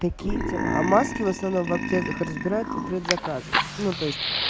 такие дела а маски в основном в аптеках разбирают по предзаказам ну то есть